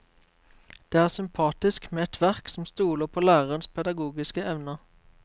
Det er sympatisk med et verk som stoler på lærerens pedagogiske evner.